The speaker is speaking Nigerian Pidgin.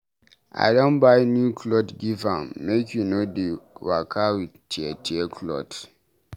I don buy new clot give am, make e no dey waka wit tear-tear clot.